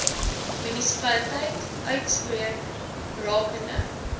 munisipaliteit uitspreek rakende